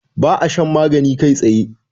ba a shan magani kai tsaye